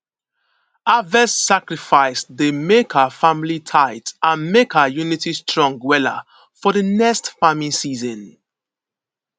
harvest sacrifice dey make our family tight and make our unity strong wella for di next farming season